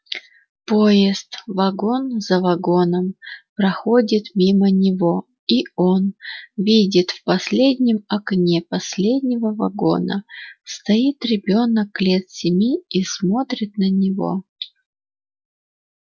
поезд вагон за вагоном проходит мимо него и он видит в последнем окне последнего вагона стоит ребёнок лет семи и смотрит на него